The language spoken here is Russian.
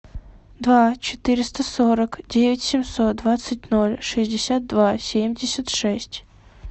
два четыреста сорок девять семьсот двадцать ноль шестьдесят два семьдесят шесть